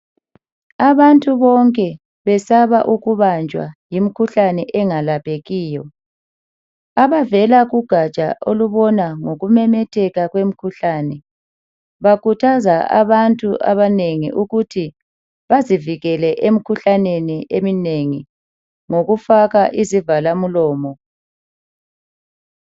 Abantu bonke besaba ukubanjwa yimikhuhlane engalaphekiyo. Abavela kugaja olubona ngokumemetheka kwemikhuhlane bakhuthaza abantu abanengi ukuthi bazivikele emikhuhlaneni eminengi ngokufaka izivalamlomo.